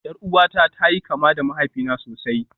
Yar uwata ta yi kama da mahaifina sosai